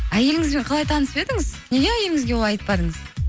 әйеліңізбен қалай танысып едіңіз неге әйеліңізге олай айтпадыңыз